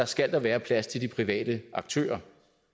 skal der være plads til de private aktører